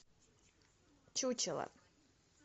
чучело